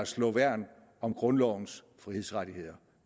slå værn om grundlovens frihedsrettigheder